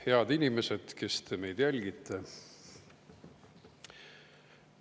Head inimesed, kes te meid jälgite!